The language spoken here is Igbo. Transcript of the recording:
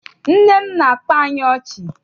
Nne m na-akpa anyị ọchị.